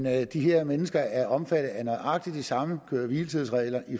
at de her mennesker er omfattet af nøjagtig de samme køre hvile tids regler